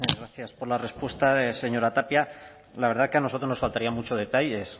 gracias por la respuesta señora tapia la verdad que a nosotros nos faltarían mucho detalles